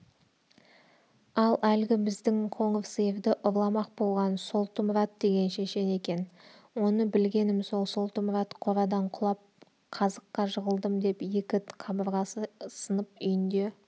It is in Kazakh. ал әлгі біздің қоңыр сиырды ұрламақ болған солтымұрат деген шешен екен оны білгенім сол солтымұрат қорадан құлап қазыққа жығылдым деп екі қабырғасы сынып үйінде